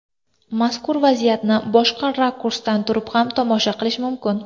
Mazkur vaziyatni boshqa rakursdan turib ham tomosha qilish mumkin.